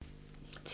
TV 2